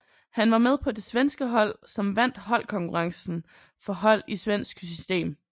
Han var med på det svenske hold som vandt holdkonkurrencen for hold i svensk system